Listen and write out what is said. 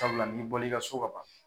sabula n'i bɔl'i ka so ka ban